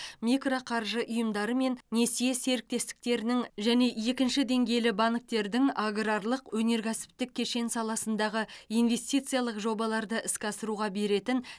микроқаржы ұйымдары мен несие серіктестіктерінің және екінші деңгейлі банктердің аграрлық өнеркәсіптік кешені саласындағы инвестициялық жобаларды іске асыруға беретін